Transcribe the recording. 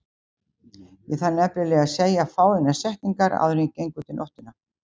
Ég þarf nefnilega að segja fáeinar setningar áður en ég geng út í nóttina.